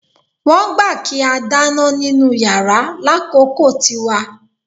Wọ́n gbà kí á dáná nínú yàrá lákòókò tiwa